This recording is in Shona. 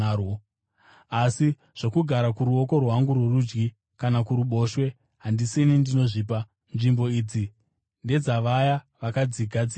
asi zvokugara kuruoko rwangu rworudyi kana kuruboshwe handisini ndinozvipa. Nzvimbo idzi ndedzavaya vakadzigadzirirwa.”